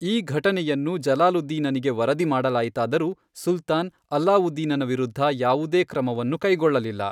ಈ ಘಟನೆಯನ್ನು ಜಲಾಲುದ್ದೀನನಿಗೆ ವರದಿ ಮಾಡಲಾಯಿತಾದರೂ ಸುಲ್ತಾನ್ ಅಲ್ಲಾವುದ್ದೀನನ ವಿರುದ್ಧ ಯಾವುದೇ ಕ್ರಮವನ್ನು ಕೈಗೊಳ್ಳಲಿಲ್ಲ.